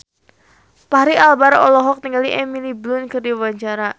Fachri Albar olohok ningali Emily Blunt keur diwawancara